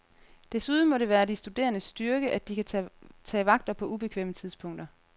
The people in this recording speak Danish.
Desuden må det være de studerendes styrke, at de kan tage vagter på ubekvemme tidspunkter.